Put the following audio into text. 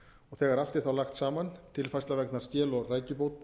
þegar allt er lagt saman tilfærsla vegna skel og